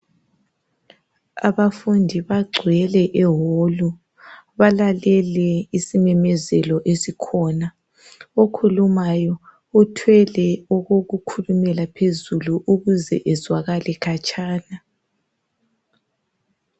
abafundi bagcwele e hall balalele isimemezelo esikhona okhulumayo uthwele okokukhulumela phezulu ukuze ezwakale khatshana.